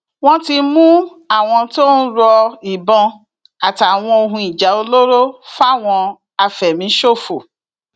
wọn ti mú àwọn tó ń ro ìbọn àtàwọn ohun ìjà olóró fáwọn afẹmíṣòfò